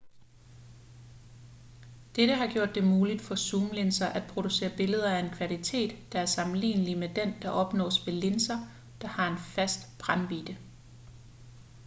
dette har gjort det muligt for zoomlinser at producere billeder af en kvalitet der er sammenlignelig med den der opnås ved linser der har en fast brændvidde